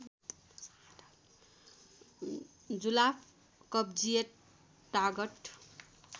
जुलाफ कब्जियत तागत